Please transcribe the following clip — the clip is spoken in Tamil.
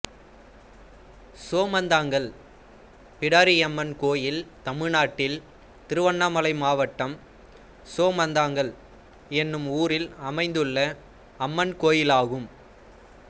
சோமந்தாங்கல் பிடாரியம்மன் கோயில் தமிழ்நாட்டில் திருவண்ணாமலை மாவட்டம் சோமந்தாங்கல் என்னும் ஊரில் அமைந்துள்ள அம்மன் கோயிலாகும்